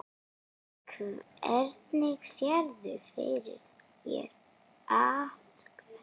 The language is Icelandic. Hvernig sérðu fyrir þér átökin?